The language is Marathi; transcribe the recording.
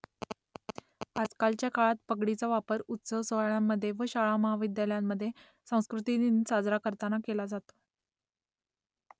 आजकालच्या काळात पगडीचा वापर उत्सव-सोहळ्यांमध्ये व शाळा , महाविद्यालयांमध्ये सांस्कृतिक दिन साजरा करताना केला जातो